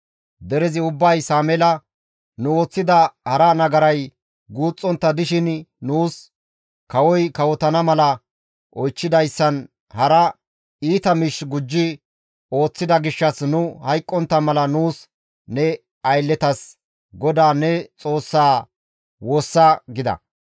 Derezi ubbay Sameela, «Nu ooththida hara nagaray guuxxontta dishin nuus kawoy kawotana mala oychchidayssan hara iita miish gujji ooththida gishshas nu hayqqontta mala nuus ne aylletas GODAA ne Xoossaa woossa» gida.